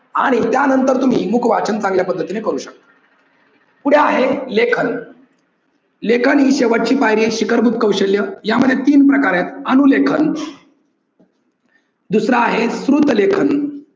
आणि त्या नंतर तुम्ही मुख वाचन चांगल्या पद्धतीने करू शकता. पुढे आहे लेखन लेखन हे शेवटची पायरी आहे शिखरभूत कौशल्य यामध्ये तीन प्रकार आहेत अनुलेखन दुसरं आहे श्रुत लेखन